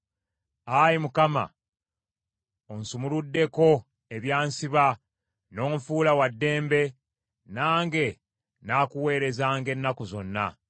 Ayi Mukama , onsumuluddeko ebyansiba n’onfuula wa ddembe, nange nnaakuweerezanga ennaku zonna.